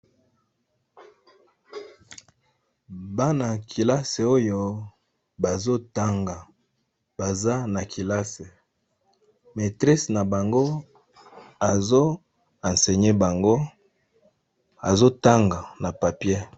Bana ya keiasi oyo bazotanga, baza na kelasi, maîtresse na bango azo enseigné bango azotanga na papier.